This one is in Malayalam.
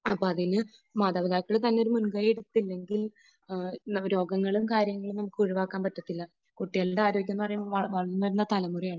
അപ്പോൾ അതിന് മാതാപിതാക്കൾ തന്നെ ഒരു മുൻകൈ എടുത്തില്ലെങ്കിൽ രോഗങ്ങളും കാര്യങ്ങളും നമുക്ക് ഒഴിവാക്കാൻ പറ്റത്തില്ല. കുട്ടികളുടെ ആരോഗ്യം എന്നുപറയുമ്പോൾ വളർന്നുവരുന്ന തലമുറയാണ്